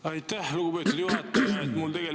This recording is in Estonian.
Aitäh, lugupeetud juhataja!